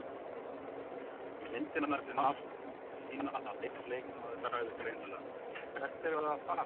Myndirnar sem nást sýna að einn leikmaður sagði greinilega: Hvert erum við að fara?